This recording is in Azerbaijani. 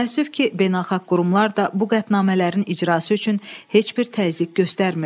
Təəssüf ki, beynəlxalq qurumlar da bu qətnamələrin icrası üçün heç bir təzyiq göstərmirdi.